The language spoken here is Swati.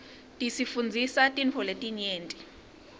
tisifundzisa tintfo letinyenti